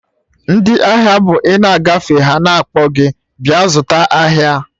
Ndị ahịa bụ ina agafe ha na-akpọ gị bịa zụta ahịa